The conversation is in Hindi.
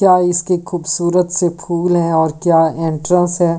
क्या इसके खूबसूरत से फूल है और क्या एंट्रंस है।